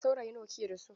Saurayi nawa kike da su?